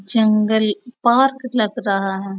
जंगल park लग रहा है।